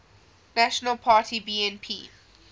national party bnp